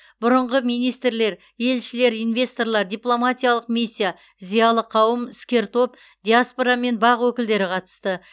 бұрынғы министрлер елшілер инвесторлар дипломатиялық миссия зиялы қауым іскер топ диаспора мен бақ өкілдері қатысты